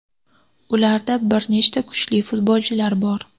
Ularda bir nechta kuchli futbolchilar bor.